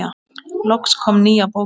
Loks kom nýja bókin.